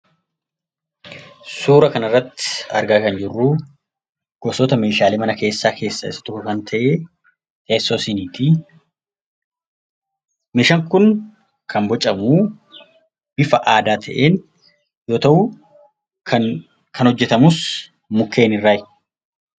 Suuraa kanaa gadii irratti kan argamu gosoota meeshaalee keessaa tokko Kan ta'e teessoo shiniiti. Meeshaan kun bocamu bifa aadaa ta'een yammuu ta'u; kan hojjetamus mukeen irraati.